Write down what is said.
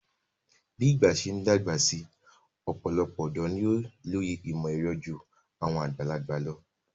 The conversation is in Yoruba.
Bí ìgbà ṣe ń dàgbà si ọ̀pọ̀lọpọ̀ ọ̀dọ́ ni ó lóye ìmọ̀-ẹ̀rọ ju àwọn àgbàlagbà lọ.